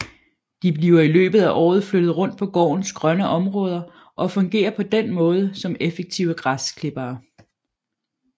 De bliver i løbet af året flyttet rundt på gårdens grønne områder og fungerer på den måde som effektive græsklippere